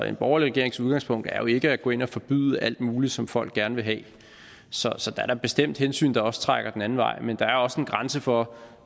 en borgerlig regerings udgangspunkt er jo ikke at gå ind at forbyde alt muligt som folk gerne vil have så så der er da bestemt hensyn der også trækker den anden vej men der er også en grænse for